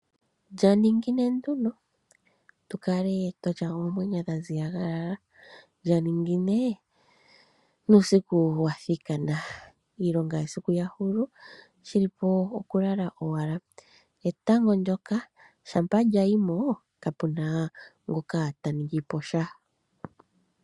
Lyaningine nduno tukae twatya oomwenyo dhaziyalala lyaningine nuusiku wathikana, iilonga yesiku shili po okulala owala. Etango ndyoka shampa lyayimo kapuna ngoka taningi posha.